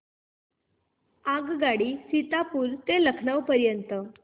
आगगाडी सीतापुर ते लखनौ पर्यंत